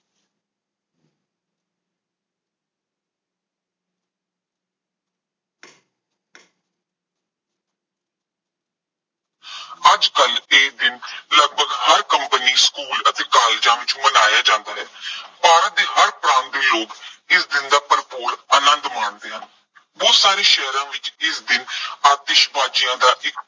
ਅੱਜ ਕੱਲ੍ਹ ਇਹ ਦਿਨ ਲਗਭਗ ਹਰ ਕੰਪਨੀ, ਸਕੂਲ ਅਤੇ ਕਾਲਜਾਂ ਵਿੱਚ ਮਨਾਇਆ ਜਾਂਦਾ ਹੈ। ਭਾਰਤ ਦੇ ਹਰ ਪ੍ਰਾਂਤ ਦੇ ਲੋਕ ਇਸ ਦਿਨ ਦਾ ਭਰਪੂਰ ਆਨੰਦ ਮਾਣਦੇ ਹਨ। ਬਹੁਤ ਸਾਰੇ ਸ਼ਹਿਰਾਂ ਵਿੱਚ ਇਸ ਦਿਨ ਆਤਿਸ਼ਬਾਜ਼ੀਆਂ ਦਾ ਇੱਕ